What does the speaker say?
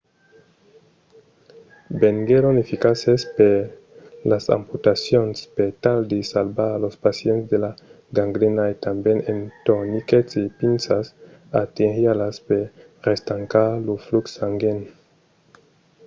venguèron eficaces per las amputacions per tal de salvar los pacients de la gangrena e tanben en torniquets e pinças arterialas per restancar lo flux sanguin